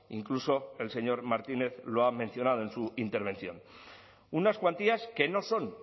incluso el señor martínez lo ha mencionado en su intervención unas cuantías que no son